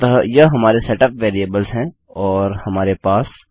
अतः यह हमारे सेटअप वेरिएबल्स हैं और हमारे पास